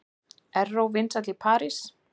Erró vinsæll í París